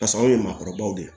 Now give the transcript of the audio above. Pas' anw ye maakɔrɔbaw de ye